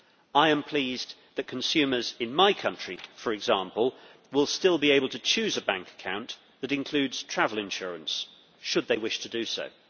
I am pleased that consumers in my country, for example, will still be able to choose a bank account that includes travel insurance, should they wish to do so.